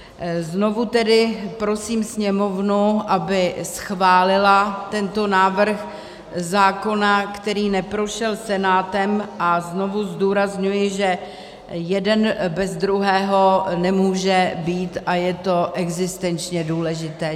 Znovu tedy prosím Sněmovnu, aby schválila tento návrh zákona, který neprošel Senátem, a znovu zdůrazňuji, že jeden bez druhého nemůže být a je to existenčně důležité.